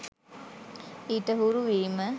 ඊට හුරු වීම